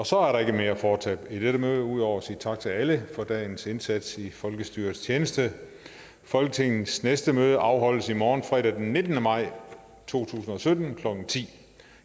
så er der ikke mere at foretage i dette møde ud over at sige tak til alle for dagens indsats i folkestyrets tjeneste folketingets næste møde afholdes i morgen fredag den nittende maj to tusind og sytten klokken ti